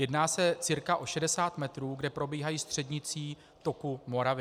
Jedná se cca o 60 metrů, kde probíhají střednicí toku Moravy.